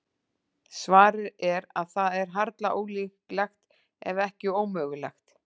Svarið er að það er harla ólíklegt, ef ekki ómögulegt.